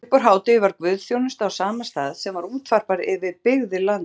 Uppúr hádegi var guðsþjónusta á sama stað sem var útvarpað yfir byggðir landsins.